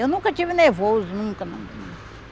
Eu nunca tive nervoso, nunca não.